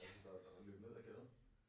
Der øh der løb ned ad gaden